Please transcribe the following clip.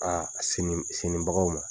A a sinibagaw ma